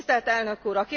Tisztelt Elnök Úr!